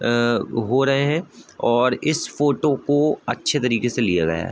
ऐं हो रहे है और इस फ़ोटो को अच्‍छे तरीके से लिया गया है ।